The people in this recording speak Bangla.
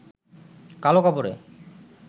কালো কাপড়ে